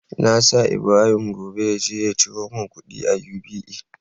Na sa Ibrahim gobe yaje ya ciro mun kudi a UBA